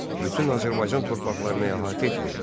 Bütün Azərbaycan torpaqlarını əhatə etmirdi.